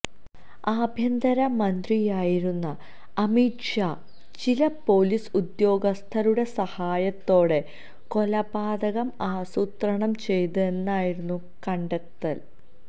ആഭ്യന്തര മന്ത്രിയായിരുന്ന അമിത് ഷാ ചില പൊലീസ് ഉദ്യോഗസ്ഥരുടെ സഹായത്തോടെ കൊലപാതകം ആസൂത്രണം ചെയ്തു എന്നായിരുന്നു കണ്ടെത്തല്